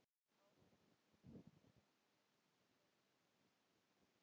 Hafsteinn Hauksson: Glimmerinu?